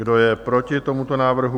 Kdo je proti tomuto návrhu?